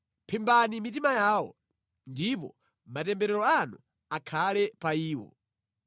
Phimbani mitima yawo, ndipo matemberero anu akhale pa iwo!